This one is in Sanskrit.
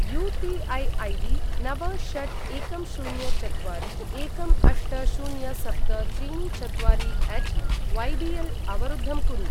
यू.पी.ऐ. ऐडी नव षट् एकं शून्य चत्वारि एकं अष्ट शून्य सप्त त्रीणि चत्वारि अट् वैबिएल् अवरुद्धं कुरु।